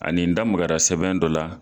Ani n da magara sɛbɛn dɔ la.